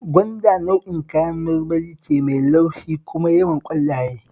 Gwanda nau'in kayan marmari ce mai laushi kuma yawan ƙwallaye